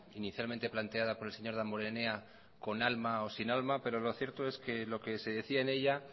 inicialmente planteada por el señor damborenea con alma o sin alma pero lo cierto es que lo que se decía en ella